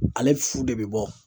Ale fu de bɛ bɔ